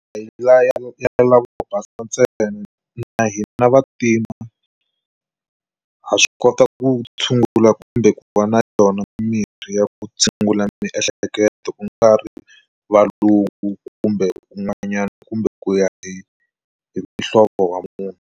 Hi la ya lavo basa ntsena na hina vantima ha swi kota ku tshungula kumbe ku va na yona mirhi ya ku tshungula miehleketo ku nga ri valungu kumbe un'wanyana kumbe ku ya hi muhlovo wa munhu.